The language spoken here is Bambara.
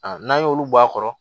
N'an y'olu bɔ a kɔrɔ